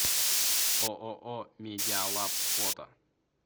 ооо медиалаб фото